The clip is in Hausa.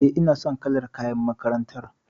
E, ina son kalar kayan makarantar.